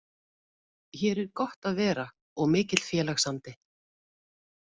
Hér er gott að vera og mikill félagsandi.